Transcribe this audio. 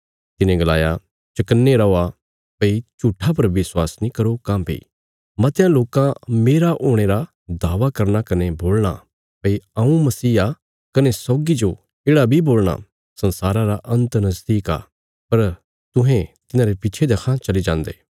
तिने गलाया चौकन्ने रौआ भई झूट्ठा पर विश्वास नीं करो काँह्भई मतयां लोकां मेरा हुणे रा दावा करना कने बोलणा भई हऊँ मसीह आ कने सौगी जो येढ़ा बी बोल़णा संसारा रा अन्त नजदीक आ पर तुहें तिन्हांरे पिच्छे देक्खां चली जान्दे